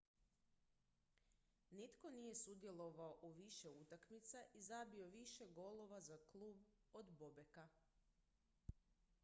nitko nije sudjelovao u više utakmica i zabio više golova za klub od bobeka